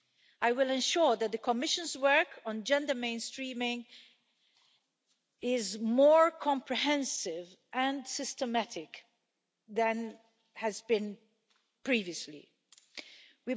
I will ensure that the Commission's work on gender mainstreaming is more comprehensive and systematic than has been previously been the case.